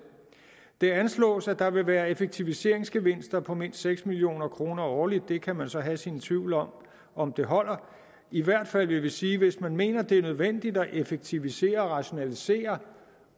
det anslås at der vil være effektiviseringsgevinster på mindst seks million kroner årligt det kan man så have sine tvivl om om holder i hvert fald vil vi sige at hvis man mener at det er nødvendigt at effektivisere og rationalisere